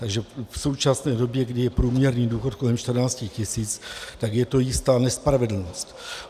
Takže v současné době, kdy je průměrný důchod kolem 14 tisíc, tak je to jistá nespravedlnost.